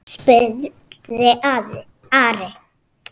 spurði Ari.